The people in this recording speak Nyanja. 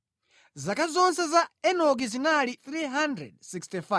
Zaka zonse za Enoki zinali 365.